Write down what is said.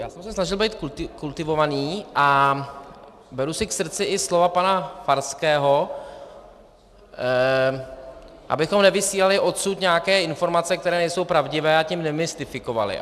Já jsem se snažil být kultivovaný a beru si k srdci i slova pana Farského, abychom nevysílali odsud nějaké informace, které nejsou pravdivé, a tím nemystifikovali.